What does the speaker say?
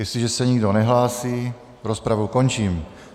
Jestliže se nikdo nehlásí, rozpravu končím.